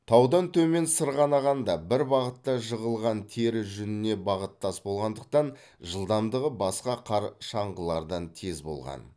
таудан төмен сырғанағанда бір бағытта жығылған тері жүніне бағыттас болғандықтан жылдамдығы басқа қар шаңғылардан тез болған